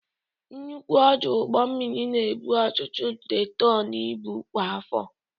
Nnukwu ọdụ ụgbọ mmiri na-ebu ọtụtụ nde tọn ibu kwa afọ.